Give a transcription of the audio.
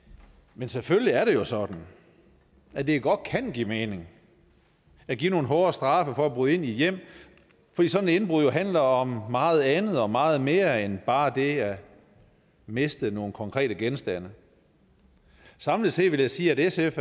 men selvfølgelig er det jo sådan at det godt kan give mening at give nogle hårde straffe for at bryde ind i hjem fordi sådan et indbrud jo handler om meget andet og meget mere end bare det at miste nogle konkrete genstande samlet set vil jeg sige at sf